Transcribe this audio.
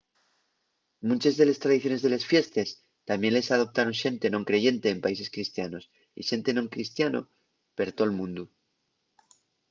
munches de les tradiciones de les fiestes tamién les adoptaron xente non creyente en países cristianos y xente non cristiano per tol mundu